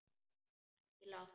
Ekki langt.